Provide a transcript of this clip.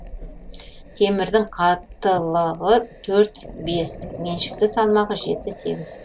темірдің қаттылығы төрт бес меншікті салмағы жеті сегіз